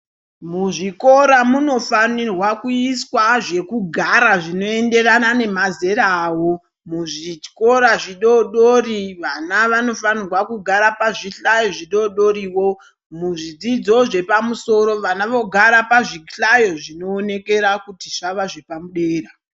Muzvikora munofanirwa kuiswa zvekugara zvinoenderana nemazera avo. Muzvikora zvidoodori vana vanofanirwa kugara pazvihlayo zvidoodoriwo. Muzvidzidzo zvepamusoro vana vogara pazvihlayo zvinoonekera kuti zvavazvepadera.